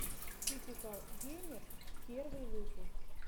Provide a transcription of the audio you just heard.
типикал геймер первый выпуск